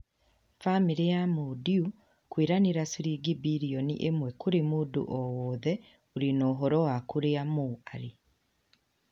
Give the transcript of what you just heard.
Bamĩrĩ ya Mo Dewji kũĩranĩra ciringi birioni ĩmwe kũrĩ mũndũ o wothe ũrĩ na ũhoro wa kũrĩa Mo arĩ.